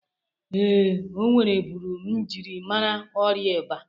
Ee, o nwereburu mjiri amara ọrịa ịba.